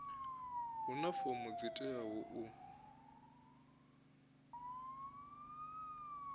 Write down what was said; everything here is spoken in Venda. huna fomo dzi teaho u